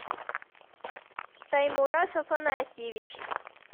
таймураз афанасьевич